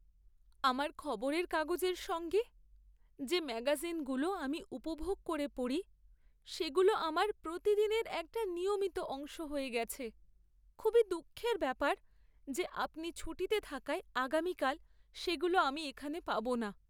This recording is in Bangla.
আমার খবরের কাগজের সঙ্গে যে ম্যাগাজিনগুলো আমি উপভোগ করে পড়ি সেগুলো আমার প্রতিদিনের একটা নিয়মিত অংশ হয়ে গেছে। খুবই দুঃখের ব্যাপার যে আপনি ছুটিতে থাকায় আগামীকাল সেগুলো আমি এখানে পাব না।